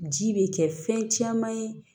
Ji bɛ kɛ fɛn caman ye